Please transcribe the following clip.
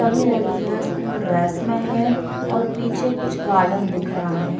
सभी लड़किया पीछे स्कूल ड्रेस में हैं और पीछे कुछ गार्डन दिख रहा हैं।